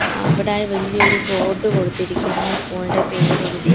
ങ്ങ അവിടെ വലിയൊരു ബോർഡ് കൊടുത്തിരിക്കുന്നു സ്കൂൾ ഇന്റെ പേര് എഴുതി.